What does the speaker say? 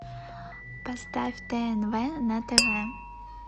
поставь тнв на тв